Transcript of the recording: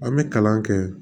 An bɛ kalan kɛ